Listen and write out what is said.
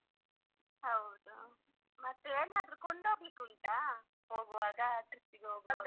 ಹೌದು ಮತ್ತೆ ಏನಾದ್ರು ಕೊಂಡೋಗ್ಲಿಕ್ಕೆ ಉಂಟಾ ಹೋಗುವಾಗ trip ಪಿಗೆ ಹೋಗುವಾಗ.